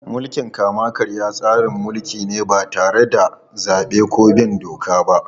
Mulkin kama-karya tsarin mulki ne ba tare da zabe ko bin doka ba.